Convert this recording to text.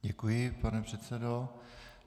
Děkuji, pane předsedo.